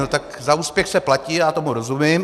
No, tak za úspěch se platí, já tomu rozumím.